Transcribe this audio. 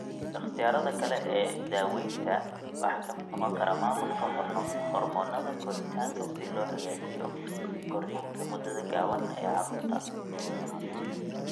Ikhtiyaarada kale ee daaweynta waxaa ka mid noqon kara maamulka hormoonnada koritaanka si loo hagaajiyo korriinka muddada gaaban ee carruurta.